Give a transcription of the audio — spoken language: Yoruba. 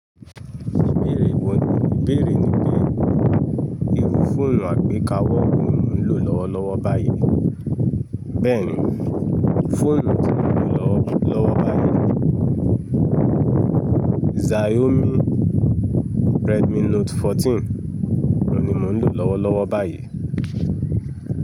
Ìbéèrè wo, ìbéèrè ni pé irú fóònù àgbékawọ́ wo ní mò ń lò lọ́wọ́lọ́wọ́ báyìí. Bẹ́ẹ̀ni, fóònù tí mò ń lò lọ́wọ́lọ́wọ́ báyìí Xiaomi Redmi Note 14, òun ni mò ń lò lọ́wọ́lọ́wọ́ báyìí.